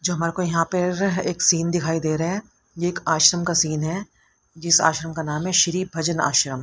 जो हमारे को यहां पे एक सीन दिखाई दे रहा है यह एक आश्रम का सीन है। जिस आश्रम का नाम है श्री भजन आश्रम--